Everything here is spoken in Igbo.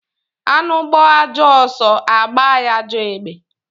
Anụ gbaa ajọ ọsọ agba ya ajọ egbe